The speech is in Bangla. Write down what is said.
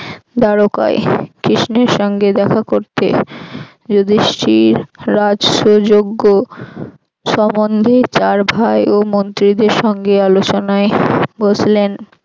দ্বারোকায় কৃষ্ণের সঙ্গে দেখা করতে যধিষ্ঠি রাজ্যযঞ্জ সম্বন্ধে তার ভাই ও মন্ত্রীদের সঙ্গে আলোচনায় বসলেন